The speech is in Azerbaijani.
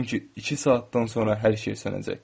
Çünki iki saatdan sonra hər şey sönəcək.